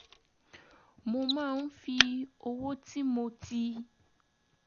mo máa ń fi owó tí mo ti